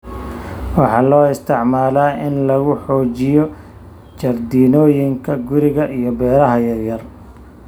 Waxaa loo isticmaalaa in lagu xoojiyo jardiinooyinka guriga iyo beeraha yaryar.